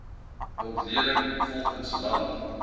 ontleding volgens land